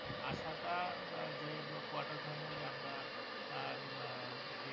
আসাটা যে quarter final এ আমরা আহ উম